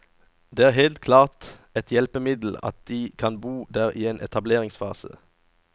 Det er helt klart et hjelpemiddel at de kan bo der i en etableringsfase.